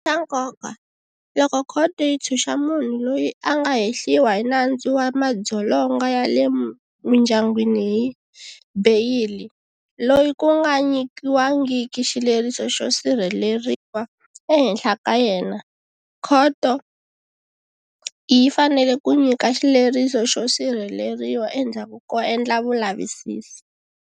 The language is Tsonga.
Xa nkoka, loko khoto yi ntshuxa munhu loyi a nga hehliwa hi nandzu wa madzolonga ya le mindyangwini hi beyili, loyi ku nga nyikiwangiki xileriso xo sirheleriwa ehenhla ka yena, khoto yi fanele ku nyika xileriso xo sirheleriwa endzhaku ko endla vulavisisi.